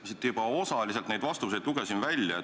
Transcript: Ma siin juba osaliselt lugesin need vastused välja.